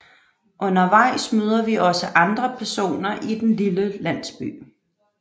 Undervejs møder vi også andre personer i den lille landsby